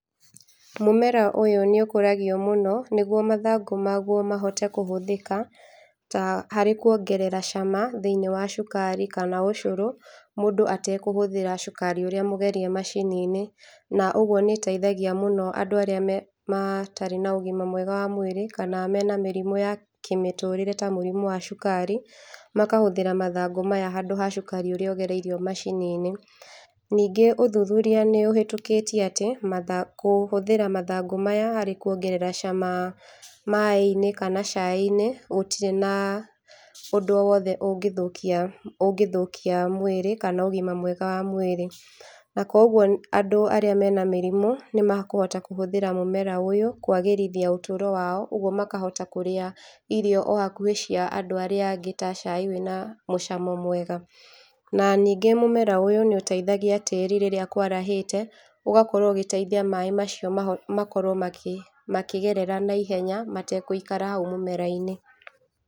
Mũmera ũyũ nĩũkũragio mũno nĩguo mathangũ maguo mahote kũhũthĩka ta, harĩ kuongerera cama thĩiniĩ wa cukari kana ũcũrũ, mũndũ atekũhũthĩra cukari ũrĩa mũgerie macini-inĩ. Na ũguo nĩ ĩteithagia mũno andũ arĩa me, matarĩ na ũgima mwega wa mwĩrĩ kana mena mĩrimũ ya kĩmĩtũrĩre ta mũrimũ wa cukari, makahũthĩra mathangũ maya handũ ha cukari ũrĩa ũgereirio macini-inĩ. Ningĩ ũthuthuria nĩũhĩtũkĩtie atĩ matha, kũhũthĩra mathangũ maya harĩ kuongerera cama maaĩ-inĩ kana cai-inĩ gũtirĩ na ũndũ o wothe ũngĩthũkia, ũngĩthũkia mwĩrĩ kana ũgima mwega wa mwĩrĩ. Na koguo andũ arĩa mena mĩrimũ nĩmakũhota kũhũthĩra mũmera ũyũ kwagĩrithia ũtũũro wao, ũguo makahota kũrĩa irio o hakuhĩ cia andũ arĩa angĩ ta cai wĩna mũcamo mwega. Na ningĩ mũmera ũyũ nĩ ũteithagia tĩĩri rĩrĩa kwarahĩte, ũgakaorwo ũgĩteithia maaĩ macio maho, makorwo makĩ, makĩgerera naihenya matekũikara hau mũmera-inĩ.